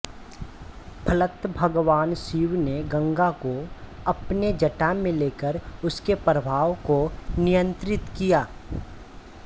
फलत भगवान शिव ने गंगा को अपने जटा में लेकर उसके प्रवाह को नियंत्रित किया